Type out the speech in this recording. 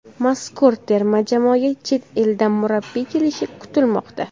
Mazkur terma jamoaga chet eldan murabbiy kelishi kutilmoqda .